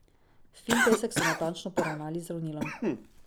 Fin pesek so natančno poravnali z ravnilom.